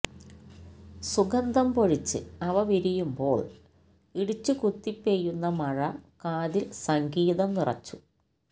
സുഗന്ധം പൊഴിച്ച് അവ വിരിയുമ്പോള് ഇടിച്ചുകുത്തിപ്പെയ്യുന്ന മഴ കാതില് സംഗീതം നിറച്ചു